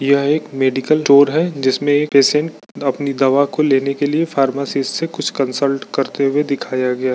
यह एक medical tour है जिसमे एक पेशेंट अपनी दवा को लेने के लिए फार्मेसी से कुछ कंसल्ट करते हुए दिखाया गया।